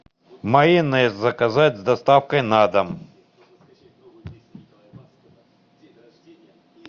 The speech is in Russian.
майонез заказать с доставкой на дом